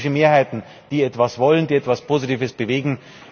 Es sind politische Mehrheiten, die etwas wollen, die etwas Positives bewegen.